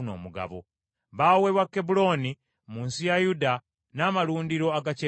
Baaweebwa Kebbulooni mu nsi ya Yuda, n’amalundiro agakyetoolodde,